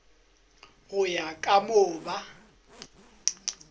go ya ka moo ba